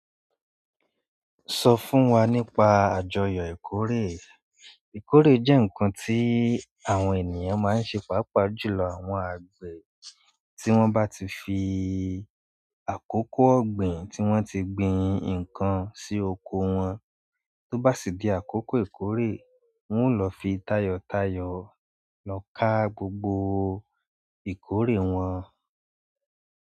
Sọ fún wa nípa àjọyọ̀ ìkórè. Ìkórè jẹ́ ǹkan tí àwọn ènìyàn máa ń se, pàápàá jùlọ àwọn àgbè tí wọ́n bá ti fi àkókò ọ̀gbìn tí wọ́n ti gbin ǹkan sí oko wọn tó bá sì di àkókò ìkórè, wọn ó lọ fi tayọ̀tayọ̀ lọ ká gbogbo ìkórè wọn.